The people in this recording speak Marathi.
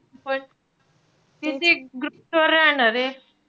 कितीक groups वर राहणारे.